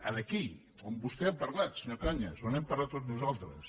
era aquí on vostè ha parlat senyor cañas on hem parlat tots nosaltres